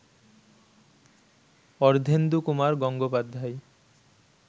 Ardhendukumar Gangopadhyay